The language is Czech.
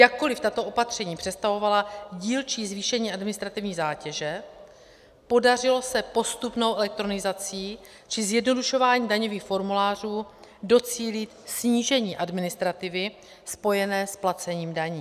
Jakkoliv tato opatření představovala dílčí zvýšení administrativní zátěže, podařilo se postupnou elektronizací či zjednodušováním daňových formulářů docílit snížení administrativy spojené s placením daní.